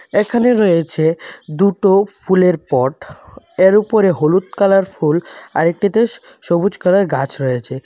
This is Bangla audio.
এখানে রয়েছে দুটো ফুলের পট এর উপরে হলুদ কালার ফুল আর একটিতে সবুজ কালার গাছ রয়েছে।